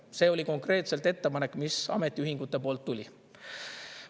See oli konkreetselt ettepanek, mis ametiühingute poolt tuli.